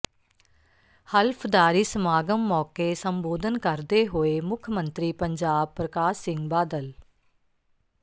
ਹਲਫ਼ਦਾਰੀ ਸਮਾਗਮ ਮੌਕੇ ਸੰਬੋਧਨ ਕਰਦੇ ਹੋਏ ਮੁੱਖ ਮੰਤਰੀ ਪੰਜਾਬ ਪ੍ਰਕਾਸ਼ ਸਿੰਘ ਬਾਦਲ